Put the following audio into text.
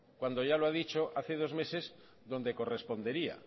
cuando ya lo ha dicho hace dos meses donde correspondería